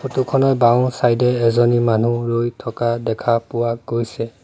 Photo খনত বাওঁ side এ এজনী মানুহ ৰৈ থকা দেখা পোৱা গৈছে।